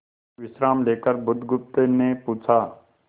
विश्राम लेकर बुधगुप्त ने पूछा